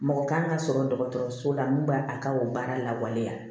Mɔgɔ kan ka sɔrɔ dɔgɔtɔrɔso la min b'a a ka o baara lawaleya